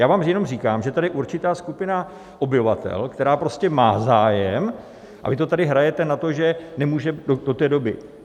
Já vám jenom říkám, že je tady určitá skupina obyvatel, která prostě má zájem, a vy to tady hrajete na to, že nemůže do té doby.